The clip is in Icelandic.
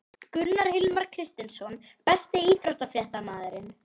Gunnar Hilmar Kristinsson Besti íþróttafréttamaðurinn?